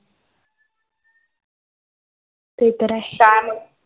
ते तर आहे.